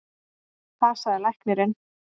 Það sagði læknirinn.